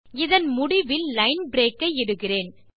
இதன் முடிவில் line break ஐ இடுகிறேன்